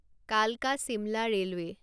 কালকা শিমলা ৰেলৱে'